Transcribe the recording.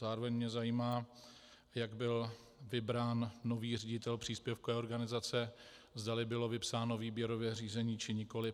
Zároveň mě zajímá, jak byl vybrán nový ředitel příspěvkové organizace, zdali bylo vypsáno výběrové řízení, či nikoli.